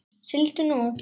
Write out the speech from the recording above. Sigldu nú.